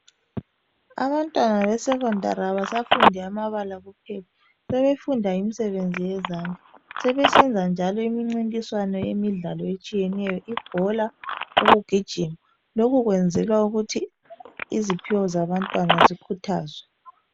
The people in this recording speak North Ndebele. Abantwana be secondary abasafundi amabala kuphela sebefunda imisebenzi yezandla sebesenza njalo imincintiswano yemidlalo etshiyeneyo ibhola, ukugijima lokhu kwenzelwa ukuthi iziphiwo ezabantwana zikhuthazwe.